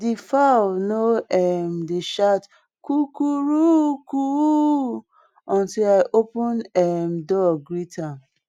di fowl no um dey shout coo coo ru cooooo until i open um door greet am